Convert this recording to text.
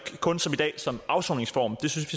kun som i dag som afsoningsform det synes